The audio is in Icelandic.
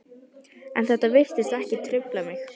En þetta virtist ekki trufla mig.